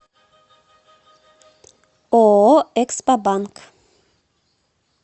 ооо экспобанк